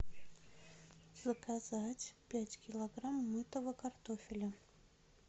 заказать пять килограмм мытого картофеля